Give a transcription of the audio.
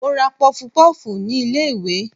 mo ra pofpof ni ilé iwe